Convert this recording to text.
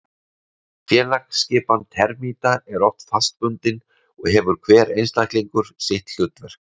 Félagsskipan termíta er oft fastbundin og hefur hver einstaklingur sitt hlutverk.